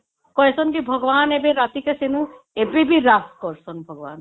କହିସନ କେ ଭଗବାନ ଏବେ ରାତି କା ତେଣୁ ଏବେ ବି ରେଷ୍ଟ କରୁଛନ ଭଗବାନ